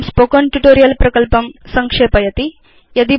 इदं spoken tutorial प्रकल्पं संक्षेपयति